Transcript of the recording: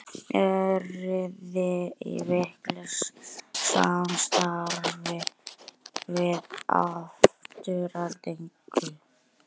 Eruði í miklu samstarfi við Aftureldingu?